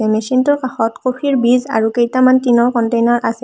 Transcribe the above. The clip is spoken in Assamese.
মেচিন টোৰ কাষত ক'ফি ৰ বিজ আৰু কেইটামান টিন ৰ কন্টেইনাৰ আছে।